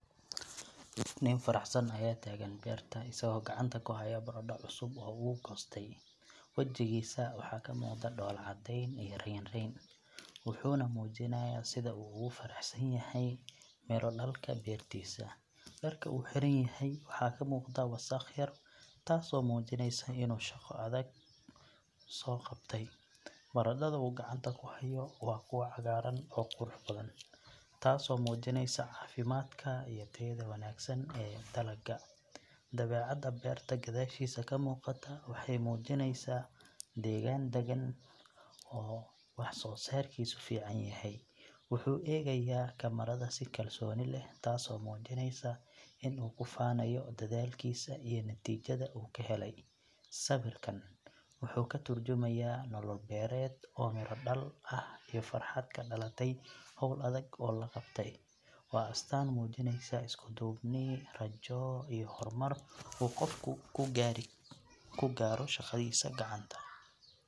Nin faraxsan ayaa taagan beerta isagoo gacanta ku haya baradho cusub oo uu goostay. Wajigiisa waxaa ka muuqda dhoolla caddeyn iyo raynrayn, wuxuuna muujinayaa sida uu ugu faraxsan yahay miro dhalka beertiisa. Dharka uu xiran yahay waxaa ka muuqda wasakh yar taasoo muujinaysa inuu shaqo adag soo qabtay. Baradhada uu gacanta ku hayo waa kuwa cagaaran oo qurux badan, taasoo muujinaysa caafimaadka iyo tayada wanaagsan ee dalagga. Dabeecadda beerta gadaashiisa ka muuqata waxay muujinaysaa degaan daggan oo wax soo saarkiisu fiican yahay. Wuxuu eegayaa kamaradda si kalsooni leh, taasoo muujinaysa in uu ku faanayo dadaalkiisa iyo natiijada uu ka helay. Sawirkan wuxuu ka tarjumayaa nolol beereed oo miro dhal ah iyo farxad ka dhalatay hawl adag oo la qabtay. Waa astaan muujinaysa isku duubni, rajo iyo horumar uu qofku ku gaaro shaqadiisa gacanta.